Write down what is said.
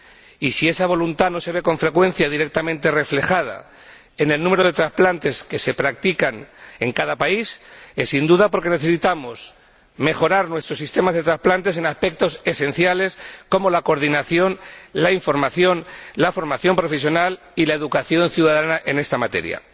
Y si esa voluntad no se ve con frecuencia directamente reflejada en el número de trasplantes que se practican en cada país es sin duda porque necesitamos mejorar nuestro sistema de trasplantes en aspectos esenciales como la coordinación, la información, la formación profesional y la educación ciudadana en esta materia.